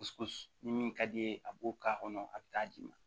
ni min ka d'i ye a b'o k'a kɔnɔ a bɛ taa d'i ma